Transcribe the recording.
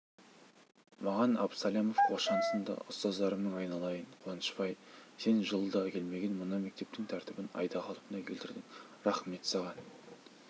маған абсалямов қошан сынды ұстаздарымның айналайын қуанышбай сен жылда келмеген мына мектептің тәртібін айда қалпына келтірдің рахмет саған